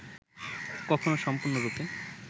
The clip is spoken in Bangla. কখনও সম্পূর্ণ রূপে